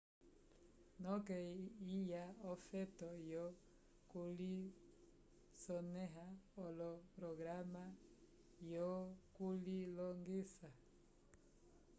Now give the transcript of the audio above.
noke kwiya ofeto yo kulisoneha koloprograma yo kulilongisa